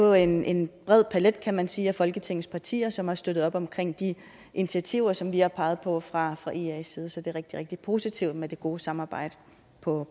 jo en en bred palet kan man sige af folketingets partier som har støttet op om de initiativer som vi har peget på fra fra ias side så det er rigtig rigtig positivt med det gode samarbejde på